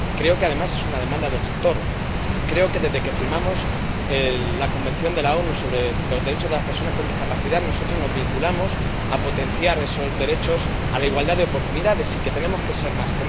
Creo que, además, es una demanda del sector. Creo que desde que firmamos la Convención de las Naciones Unidas sobre los derechos de las personas con discapacidad nosotros nos comprometimos a potenciar esos derechos a la igualdad de oportunidades, y que tenemos que ser más.